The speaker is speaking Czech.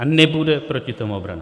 A nebude proti tomu obrany.